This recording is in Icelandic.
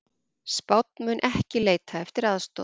Spánn mun ekki leita eftir aðstoð